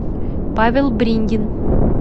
павел брингин